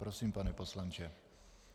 Prosím, pane poslanče.